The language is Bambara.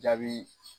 Jaabi